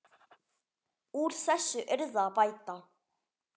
Úr þessu yrði að bæta.